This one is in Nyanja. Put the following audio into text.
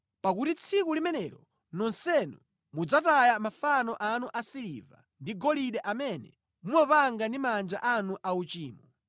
Pakuti tsiku limenelo nonsenu mudzataya mafano anu a siliva ndi golide amene mumapanga ndi manja anu auchimo.